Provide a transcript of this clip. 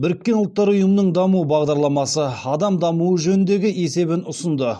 біріккен ұлттар ұйымының даму бағдарламасы адам дамуы жөніндегі есебін ұсынды